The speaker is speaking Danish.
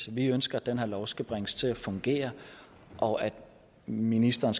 vi ønsker at den her lov skal bringes til at fungere og at ministeren